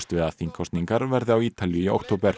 við að þingkosningar verði á Ítalíu í október